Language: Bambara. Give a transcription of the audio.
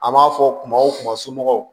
An b'a fɔ kuma o kuma somɔgɔw